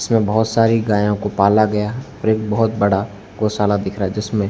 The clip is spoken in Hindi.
इसमें बहुत सारी गायों को पाला गया और एक बहुत बड़ा गोशाला दिख रहा है जिसमें--